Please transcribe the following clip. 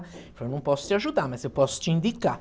Ele falou, não posso te ajudar, mas eu posso te indicar.